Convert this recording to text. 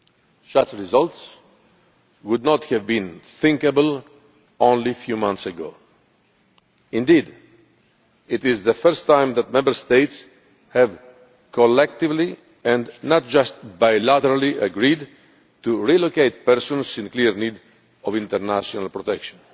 all. Such results would not have been thinkable only a few months ago. Indeed, it is the first time that Member States have collectively and not just bilaterally agreed to relocate persons in clear need of international protection.